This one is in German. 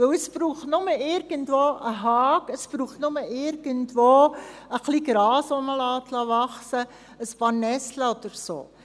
Denn es braucht nur irgendwo einen Zaun, es braucht nur irgendwo etwas Gras, das man wachsen lässt, ein paar Nesseln oder so.